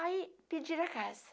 Aí, pediram a casa.